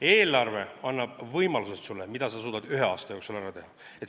Eelarve annab sulle võimalused, mida sa suudad ühe aasta jooksul ära teha.